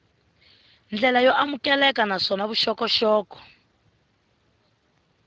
ndlela yo amukeleka naswona vuxokoxoko